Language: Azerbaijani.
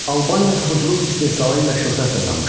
Albaniya toxuculuq istehsalı ilə şöhrət qazanmışdı.